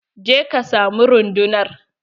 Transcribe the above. Je ka samu rundunar!